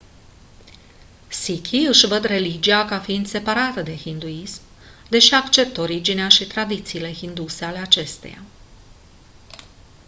sikhii își văd religia ca fiind separată de hinduism deși acceptă originea și tradițiile hinduse ale acesteia